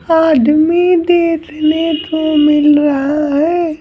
आदमी देखने को मिल रहा है।